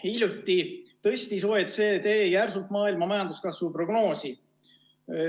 Hiljuti tõstis OECD järsult maailma majanduskasvu prognoosi.